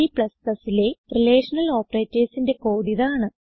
Cലെ relational operatorsന്റെ കോഡിതാണ്